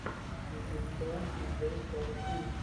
ютуб шоу си джей соу кул